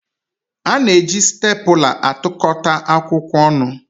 A na-eji stèpula atụkọta akwụkwọ ọnụ